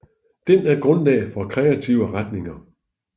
Den er grundlag for kreative retninger